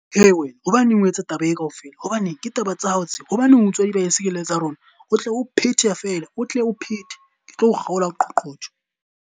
He wena! Hobaneng o etsa taba e ka ofela. Hobaneng? Ke taba tsa hao tseo hobaneng o utswa di-bicycle tsa rona? O tle o phethehe feela, o tle o phethe ke tlo kgaola qoqotho.